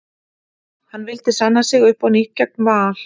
Hann vildi sanna sig upp á nýtt gegn Val.